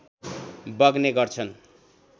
बग्ने गर्छन्